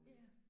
Ja